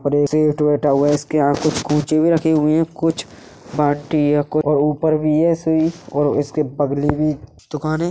इसके यहाँ कुछ कूचे भी रखें हुए हैंकुछ बाटी या और ऊपर भी ऐसे ही और इसके बगली भी दुकान है।